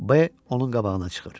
Bəy onun qabağına çıxır.